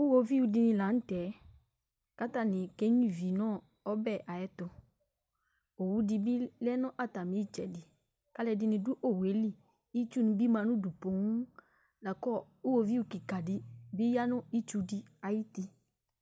Iɣoviu dɩnɩ la nʋ tɛ, kʋ atanɩ kenyuǝ ivi nʋ ɔbɛ ayɛtʋ Owu dɩ bɩ lɛ nʋ atamɩ ɩtsɛdɩ kʋ alʋɛdɩnɩ dʋ owu yɛ li Itsunɩ bɩ ma nʋ udu poo la kʋ iɣoviu kɩka dɩ bɩ ya nʋ itsu dɩ ayuti